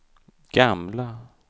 gamla